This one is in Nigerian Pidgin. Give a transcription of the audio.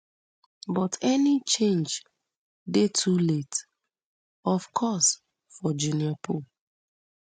but any change dey too late of course for junior pope